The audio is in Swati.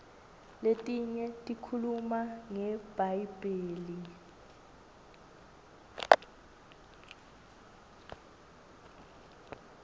letinye tikhuluma ngebhayibheli